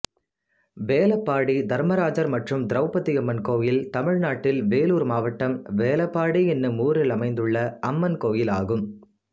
வேலப்பாடி தர்மராஜர் மற்றும் திரௌபதியம்மன் கோயில் தமிழ்நாட்டில் வேலூர் மாவட்டம் வேலப்பாடி என்னும் ஊரில் அமைந்துள்ள அம்மன் கோயிலாகும்